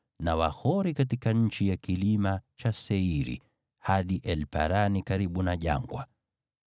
na Wahori katika nchi ya kilima cha Seiri, hadi El-Parani karibu na jangwa.